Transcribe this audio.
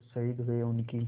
जो शहीद हुए हैं उनकी